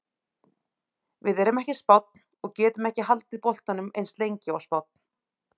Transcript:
Við erum ekki Spánn og getum ekki haldið boltanum eins lengi og Spánn.